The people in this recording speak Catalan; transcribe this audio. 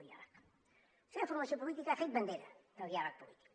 la seva formació política ha fet bandera del diàleg polític